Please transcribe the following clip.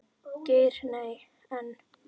Geir Nei, en.